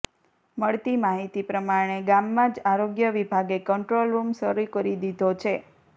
મળતી માહિતી પ્રમાણે ગામમાં જ આરોગ્ય વિભાગે કંટ્રોલ રૂમ શરૂ કરી દીધો છે